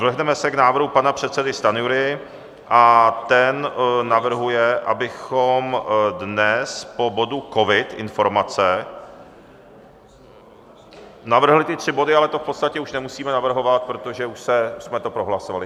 Vrhneme se k návrhu pana předsedy Stanjury a ten navrhuje, abychom dnes po bodu covid, informace... navrhli ty tři body, ale to v podstatě už nemusíme navrhovat, protože už jsme to prohlasovali.